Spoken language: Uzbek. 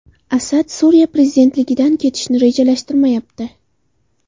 Asad Suriya prezidentligidan ketishni rejalashtirmayapti.